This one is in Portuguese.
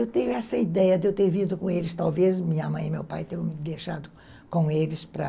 Eu tenho essa ideia de eu ter vindo com eles, talvez minha mãe e meu pai tenham me deixado com eles para...